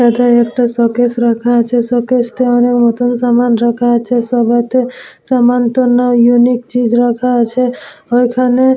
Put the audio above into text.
এইটা একটা শোকেস রাখা আছে শোকেস টা অনেক নতুন সামান রাখা আছে সবেতে সমান টার নাম ইউনিক চীজ রাখা আছে ওখানে --